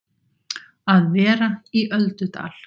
Að vera í öldudal